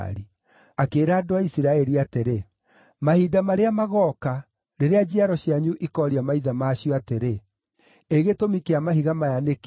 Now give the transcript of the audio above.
Akĩĩra andũ a Isiraeli atĩrĩ, “Mahinda marĩa magooka, rĩrĩa njiaro cianyu ikooria maithe ma cio atĩrĩ, ‘Ĩ gĩtũmi kĩa mahiga maya nĩ kĩĩ?’